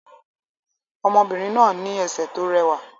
Ọmọbìnrin náà ní ẹsẹ̀ tó rẹwà